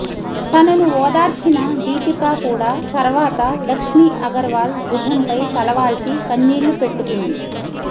తనను ఓదార్చిన దీపికా కూడా తర్వాత లక్ష్మీ అగర్వాల్ భుజంపై తలవాల్చి కన్నీళ్లు పెట్టుకుంది